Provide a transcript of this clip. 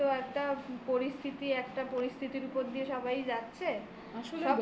তো একটা পরিস্থিতি একটা পরিস্থিতির উপর দিয়ে সবাই যাচ্ছে.